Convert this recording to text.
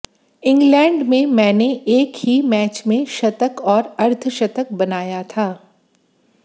England में मैनें एक ही मैच में शतक और अर्धशतक बनाया था